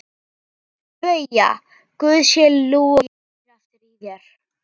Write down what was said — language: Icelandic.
BAUJA: Guði sé lof, ég heyri aftur í þér!